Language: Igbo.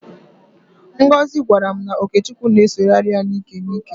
Ngozị gwara m na ọkechukwu na-esogharị ya n'íkè n'íkè.